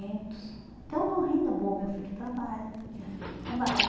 Então, a renda é boa, meu filho trabalha, minha filha trabalha.